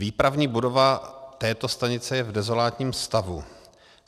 Výpravní budova této stanice je v dezolátním stavu.